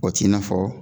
O t'i n'a fɔ